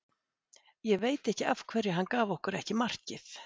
Ég veit ekki af hverju hann gaf okkur ekki markið.